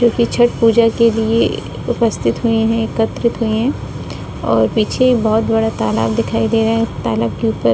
जो कि छठ पूजा के लिए उपस्थित हुए हैं एकत्रित हुए हैं और पीछे बहुत बड़ा तालाब दिखाई दे रहा है। तालाब के ऊपर --